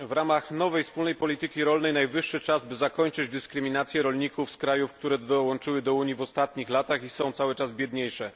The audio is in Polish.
W ramach nowej wspólnej polityki rolnej najwyższy czas, by zakończyć dyskryminację rolników z krajów, które dołączyły do Unii w ostatnich latach i są cały czas biedniejsze.